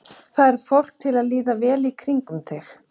Færð fólk til að líða vel í kringum þig?